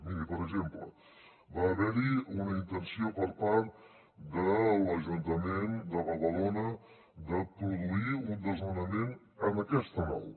miri per exemple va haver hi una intenció per part de l’ajuntament de badalona de produir un desnonament en aquesta nau